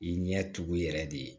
I ɲɛ tugu yɛrɛ de